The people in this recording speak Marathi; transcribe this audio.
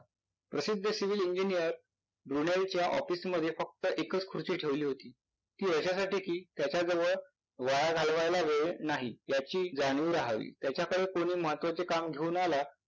प्रसिद्ध Civil engineer brunalchya office मध्ये फक्त एकच खुर्ची ठेवली होती ती याच्यासाठी कि त्याच्याजवळ वाया घालवायला वेळ नाही याची जाणीव राहावी. त्याच्याकडे कुणी महत्वाचे काम घेऊन आला